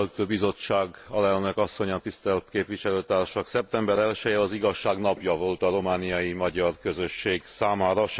Tisztelt Bizottság! Alelnök Asszony! Tisztelt Képviselőtársak! Szeptember 1 je az igazság napja volt a romániai magyar közösség számára.